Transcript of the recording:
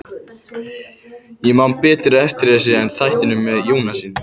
Ég man betur eftir þessu en þættinum með Jónasi.